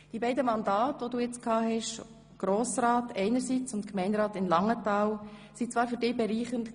Die beiden Mandate als Grossrat einerseits und Gemeinderat in Langenthal anderseits waren zwar für dich bereichernd.